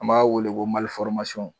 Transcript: An b'a weele ko